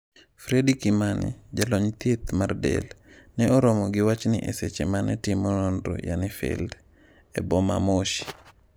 Fredy Kimani, jalony thieth mag del, ne oromo gi wachni e seche mane timo nonro (field) e boma Moshi.